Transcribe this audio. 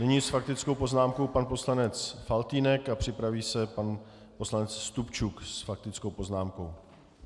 Nyní s faktickou poznámkou pan poslanec Faltýnek a připraví se pan poslanec Stupčuk s faktickou poznámkou.